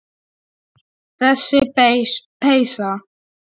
Þessi peysa!